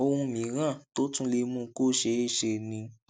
ohun mìíràn tó tún lè mú kó ṣeé ṣe ni